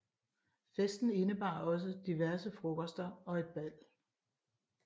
Festen indebar også diverse frokoster og et bal